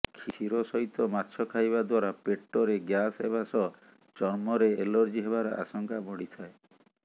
କ୍ଷୀର ସହିତ ମାଛ ଖାଇବା ଦ୍ୱାରା ପେଟରେ ଗ୍ୟାସ୍ ହେବା ସହ ଚର୍ମରେ ଏଲର୍ଜି ହେବାର ଆଶଙ୍କା ବଢ଼ିଥାଏ